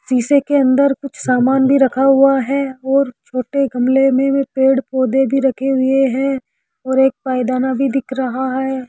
सीसे के अंदर कुछ सामान भी रखा हुआ है और छोटे गमले मे पेड़ पौधे भी रखे हुए है और एक पायदान भी दिख रहा है।